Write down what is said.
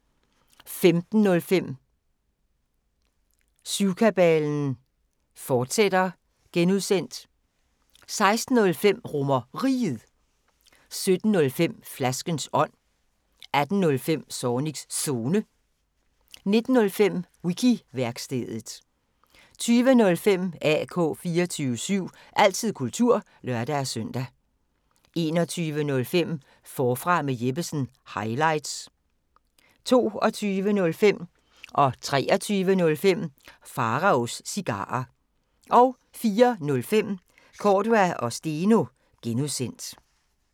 15:05: Syvkabalen (G), fortsat 16:05: RomerRiget 17:05: Flaskens ånd 18:05: Zornigs Zone 19:05: Wiki-værkstedet 20:05: AK 24syv – altid kultur (lør-søn) 21:05: Forfra med Jeppesen – highlights 22:05: Pharaos Cigarer 23:05: Pharaos Cigarer 04:05: Cordua & Steno (G)